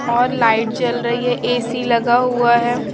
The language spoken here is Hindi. और लाइट जल रही है ए_सी लगा हुआ है।